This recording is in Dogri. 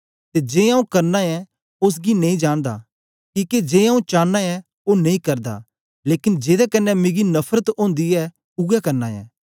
ते जे आंऊँ करना ऐं ओसगी नेई जानदा किके जे आंऊँ चांना ऐं ओ नेई करदा लेकन जेदे कन्ने मिगी नफरत ओंदी ऐ ऊऐ करना ऐं